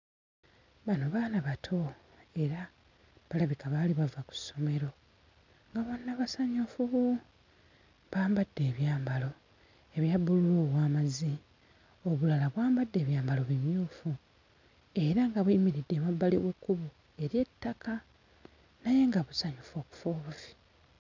Bano baana bato era balabika baali bava ku ssomero nga bonna basanyufu bambadde ebyambalo ebya bbululu ow'amazzi obulala bwambadde ebyambalo bimyufu era nga buyimiridde emabbali g'ekkubo ery'ettaka naye nga busanyufu okufa obufi.